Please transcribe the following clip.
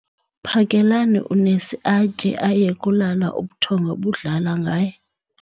Phakelani unesi atye aye kulala ubuthongo budlala ngaye